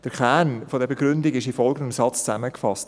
Der Kern der Begründung ist im folgenden Satz zusammengefasst: